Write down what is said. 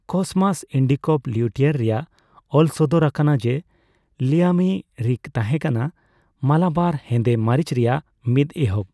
Cosmas Indicopleustes ᱨᱮᱭᱟᱜ ᱚᱞ ᱥᱚᱫᱚᱨ ᱟᱠᱟᱱᱟ ᱡᱮ ᱞᱤᱢᱟᱭᱤᱨᱤᱠ ᱛᱟᱦᱮᱸ ᱠᱟᱱᱟ ᱢᱟᱞᱟᱵᱟᱨ ᱦᱮᱸᱫᱮ ᱢᱟᱨᱤᱪ ᱨᱮᱭᱟᱜ ᱢᱤᱫ ᱮᱦᱚᱵ᱾